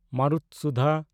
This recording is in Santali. ᱢᱟᱨᱩᱛᱥᱩᱫᱷᱟ